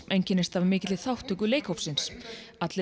einkennist af mikilli þátttöku leikhópsins allir